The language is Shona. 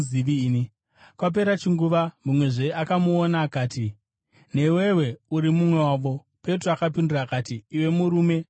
Kwapera chinguvana, mumwezve akamuona akati, “Newewo uri mumwe wavo.” Petro akapindura akati, “Iwe murume, handizi!”